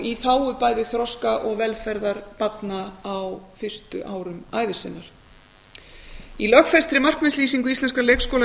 í þágu bæði þroska og velferðar barna á fyrstu árum ævi sinnar í lögfestri markmiðslýsingu íslenskra leikskóla